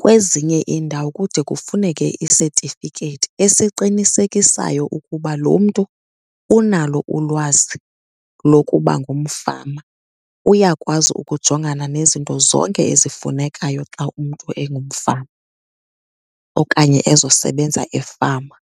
Kwezinye iindawo kude kufuneke isetifiketi esiqinisekisayo ukuba lo mntu unalo ulwazi lokuba ngumfama, uyakwazi ukujongana nezinto zonke ezifunekayo xa umntu engumfama okanye ezosebenza efama.